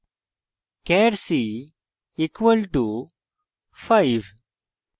char c = 5